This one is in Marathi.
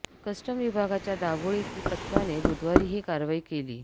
कस्टम विभागाच्या दाबोळीतील पथकाने बुधवारी ही कारवाई केली